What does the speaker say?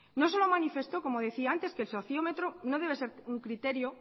no solo manifestó como decía antes que el sociómetro no debe ser un criterio